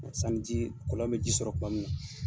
san ji kɔlɔn bɛ ji sɔrɔ tuma min na.